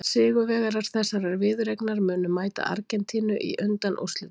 Sigurvegarar þessarar viðureignar munu mæta Argentínu í undanúrslitum.